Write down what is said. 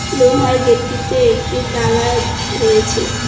লোহার গেটটিতে একটি তালা রয়েছে।